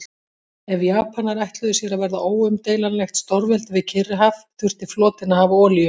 Ef Japanar ætluðu sér að verða óumdeilanlegt stórveldi við Kyrrahaf, þurfti flotinn að hafa olíu.